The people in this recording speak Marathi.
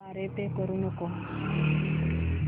द्वारे पे करू नको